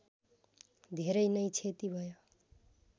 धेरै नै क्षति भयो